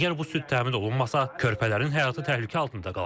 Əgər bu süd təmin olunmasa, körpələrin həyatı təhlükə altında qalacaq.